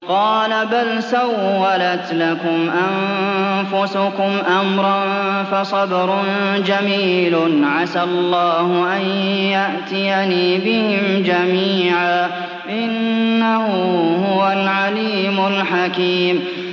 قَالَ بَلْ سَوَّلَتْ لَكُمْ أَنفُسُكُمْ أَمْرًا ۖ فَصَبْرٌ جَمِيلٌ ۖ عَسَى اللَّهُ أَن يَأْتِيَنِي بِهِمْ جَمِيعًا ۚ إِنَّهُ هُوَ الْعَلِيمُ الْحَكِيمُ